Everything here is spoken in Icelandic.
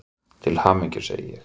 Til hamingju, segi ég.